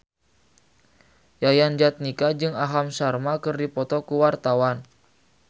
Yayan Jatnika jeung Aham Sharma keur dipoto ku wartawan